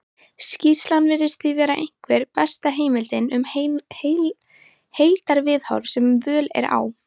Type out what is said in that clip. skýrslan virðist því vera einhver besta heimildin um heildarviðhorf sem völ er á